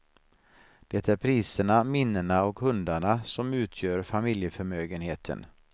Det är priserna, minnena och hundarna som utgör familjeförmögenheten.